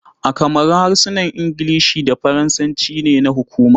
A kamaru, harsunan Ingilishi da Faransanci ne na hukuma.